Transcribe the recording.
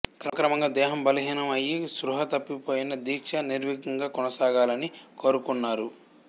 క్రమక్రమంగా దేహం బలహీనం అయ్యి స్పృహ తప్పి పోయినా దీక్ష నిర్విఘ్నంగా కొనసాగాలని కోరుకొన్నారు